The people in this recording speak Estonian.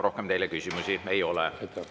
Rohkem teile küsimusi ei ole.